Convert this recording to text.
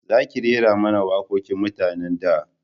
Za ki rera mana waƙoƙin mutanen da